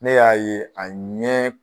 Ne y'a ye a ɲɛ